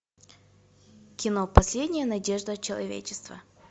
кино последняя надежда человечества